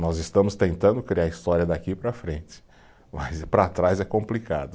Nós estamos tentando criar história daqui para frente, mas para trás é complicado.